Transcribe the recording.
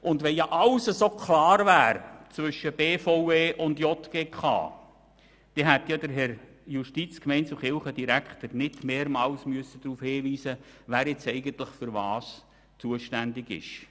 Wenn zwischen BVE und JGK alles so klar wäre, dann hätte ja der Herr Justiz-, Gemeinde- und Kirchendirektor nicht mehrmals darauf hinweisen müssen, wer in diesem Bereich nun eigentlich wofür zuständig ist.